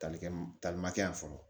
Talikɛ talimakɛ yan fɔlɔ